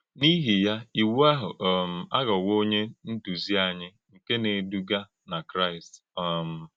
N’ìhì ya, Ìwù áhụ̀ um àghọ́wò ònyé ndúzì ányí nkè na-èdùgà nà Kráìst.” um